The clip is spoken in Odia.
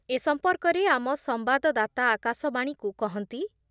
ଏ ସମ୍ପର୍କରେ ଆମ ସମ୍ବାଦଦାତା ଆକାଶବାଣୀକୁ କହନ୍ତି